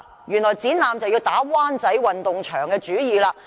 原來在展覽方面就要打灣仔運動場的主意。